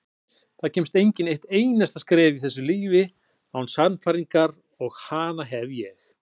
Það kemst enginn eitt einasta skref í þessu lífi án sannfæringarinnar og hana hef ég.